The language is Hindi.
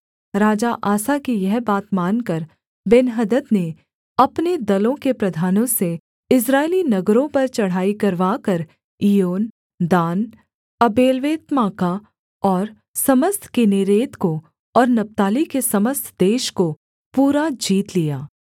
राजा आसा की यह बात मानकर बेन्हदद ने अपने दलों के प्रधानों से इस्राएली नगरों पर चढ़ाई करवाकर इय्योन दान आबेल्वेत्माका और समस्त किन्नेरेत को और नप्ताली के समस्त देश को पूरा जीत लिया